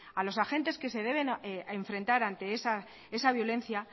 a los agentes que se deben enfrentar ante esa violencia